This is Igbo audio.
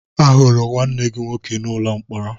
Ahụrụ m nwanne gị nwoke n'ụlọ mkpọrọ